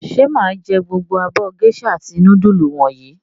Ṣé mà á jẹ gbogbo abọ́ géíṣà àti núdúlù wọ̀nyí?